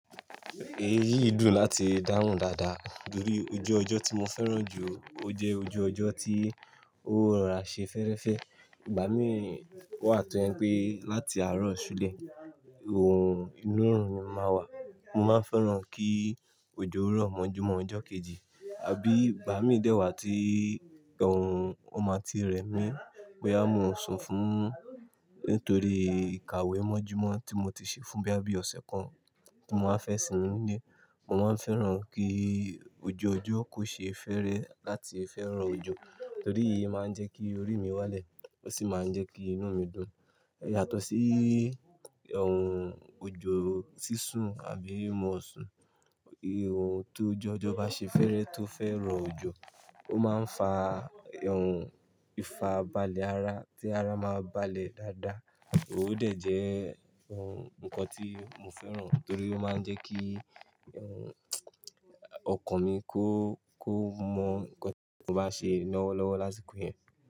Èyí dùn láti dáhùn dáadáa torí ojú ọjọ́ tí mo fẹ́ràn jù, ó jẹ́ ojú ọjọ́ tí ó rà ṣe fẹ́rẹ́fẹ́. Ìgbà mí wà tó ó jẹ́ pé láti àárọ̀ ṣúlẹ̀, ohun ìmírùn ni máa wà. Mo máa ń fẹ́ràn kí òjò rọ̀ mọ́jú mọ́ ọjọ́ kejì àbí ìgbà mí dẹ̀ wá tí ó máa ti rẹ̀ mí. Bóyá mi o sùn fún nítorí ìkàwé mọ́jú mọ́ tí mo ti ṣe fún bíi ọ̀sẹ̀ kan tí mo máa fẹ́ sinmi nílé. Mo máa ń fẹ́ràn kí ojú ọjọ́ kó ṣe é fẹ́rẹ́ láti fẹ́ rọ òjò torí èyí máa ń jẹ́ kí orí mi wálẹ̀ ó sì máa ń jẹ́ kí inú mi dùn. Yàtọ̀ sí òjò sísun àbí mọ́ oṣù. Tó ojú ọjọ́ bá ṣe é fẹ́ rọ tó fẹ́ràn òjò, ó máa ń fa ìfarabalẹ̀ ara tí ara máa balẹ̀ dáadáa. O dẹ̀ jẹ́ nǹkan tí mo fẹ́ràn torí ó máa ń jẹ́ kí ọkàn mi kó, kó mọ̀ nǹkan tí mo bá ṣe lọ́wọ́lọ́wọ́ lásìkò yẹn.